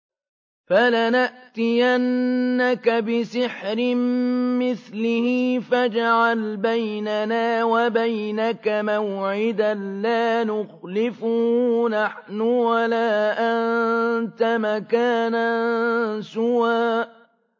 فَلَنَأْتِيَنَّكَ بِسِحْرٍ مِّثْلِهِ فَاجْعَلْ بَيْنَنَا وَبَيْنَكَ مَوْعِدًا لَّا نُخْلِفُهُ نَحْنُ وَلَا أَنتَ مَكَانًا سُوًى